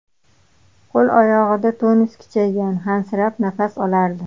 Qo‘l-oyog‘ida tonus kuchaygan, hansirab nafas olardi.